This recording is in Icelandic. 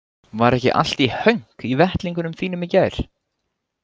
Var ekki allt í hönk í vettlingunum þínum í gær?